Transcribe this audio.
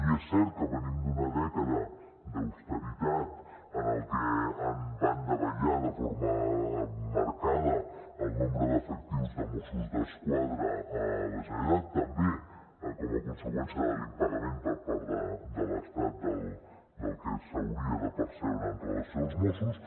i és cert que venim d’una dècada d’austeritat en la que va davallar de forma marcada el nombre d’efectius de mossos d’esquadra a la generalitat també com a conseqüència de l’impagament per part de l’estat del que s’hauria de percebre en relació amb els mossos